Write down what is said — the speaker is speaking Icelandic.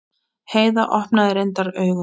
Heiða opnaði reyndar augun.